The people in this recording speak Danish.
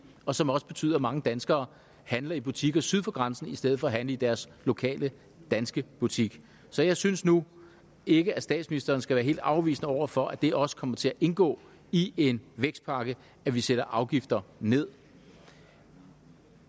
og som også betyder at mange danskere handler i butikker syd for grænsen i stedet for at handle i deres lokale danske butik så jeg synes nu ikke at statsministeren skal være helt afvisende over for at det også kommer til at indgå i en vækstpakke at vi sætter afgifter nederst